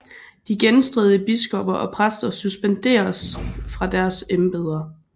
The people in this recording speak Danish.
De genstridige biskopper og præster suspenderedes fra deres embeder